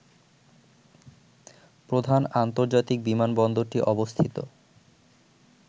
প্রধান আন্তর্জাতিক বিমানবন্দরটি অবস্থিত